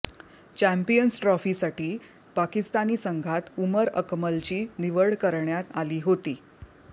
champions ट्रॉफीसाठी पाकिस्तानी संघात उमर अकमलची निवड करण्यात आली होती